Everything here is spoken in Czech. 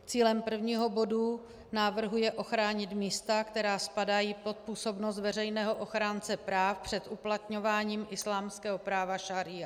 Cílem prvního bodu návrhu je ochránit místa, která spadají pod působnost veřejného ochránce práv, před uplatňováním islámského práva šaría.